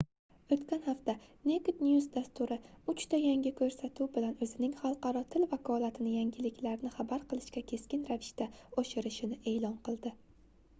oʻtgan hafta naked news dasturi uchta yangi koʻrsatuv bilan oʻzining xalqaro til vakolatini yangiliklarni xabar qilishga keskin ravishda oshirishini eʼlon qildi